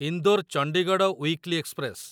Indore Chandigarh weekly express